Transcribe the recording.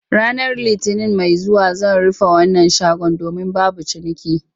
Ranar Litinin mai zuwa zan rufe wannan shagon domin babu ciniki